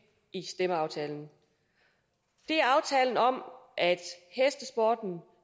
stemmeaftalen det er aftalen om at hestesporten nu